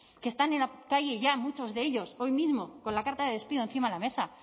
que están en la calle ya muchos de ellos hoy mismo con la carta de despido encima de la mesa